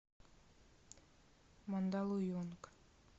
мандалуйонг